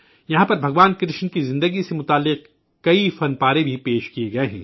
یہاں پر بھگوان کرشن کی زندگی سے متعلق بہت سے فن پارے بھی آویزاں ہیں